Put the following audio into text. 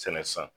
Sɛnɛ san